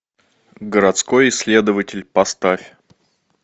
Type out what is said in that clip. городской исследователь поставь